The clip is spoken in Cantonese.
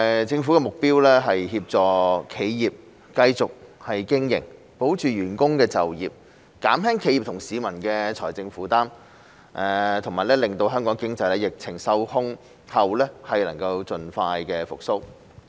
政府的目標是協助企業繼續經營、保住員工的就業、減輕企業和市民的財政負擔，以及令香港經濟在疫情受控後能夠盡快復蘇。